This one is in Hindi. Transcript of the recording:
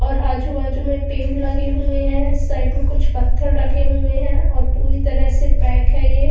और आजू बाजू में पेड़ लगे हुए हैं साइड में कुछ पत्थर रखे हुए हैं और पूरी तरह से पैक है ये।